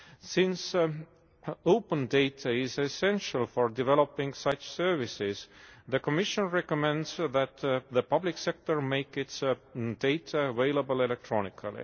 Since open data is essential for developing such services, the Commission recommends that the public sector make its data available electronically.